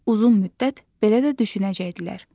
Uzun müddət belə də düşünəcəkdilər.